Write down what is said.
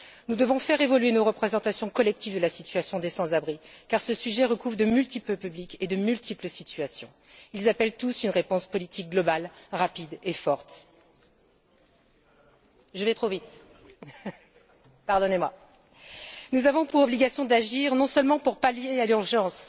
Nous devons faire évoluer nos représentations collectives de la situation des sans abris car ce sujet recouvre de multiples publics et de multiples situations. Ils appellent tous une réponse politique globale, rapide et forte. Nous avons pour obligation d'agir non seulement pour pallier l'urgence